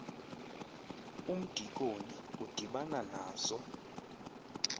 umdikoni udibana nazo